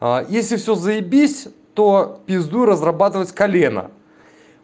а если всё заебись то пиздуй разрабатывать колено